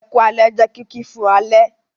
"Ẹku alẹ́" jẹ kìki fún alẹ́.